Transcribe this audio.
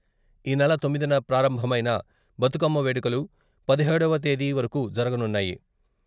ఈనెల తొమ్మిదిన ప్రారంభమైన బతుకమ్మ వేడుకలు పదిహేడవ తేదీ వరకు జరగనున్నాయి.